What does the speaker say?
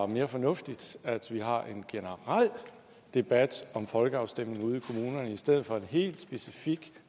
mere fornuftigt at vi har en generel debat om folkeafstemninger ude i kommunerne i stedet for en helt specifik